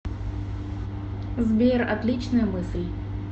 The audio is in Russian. сбер отличная мысль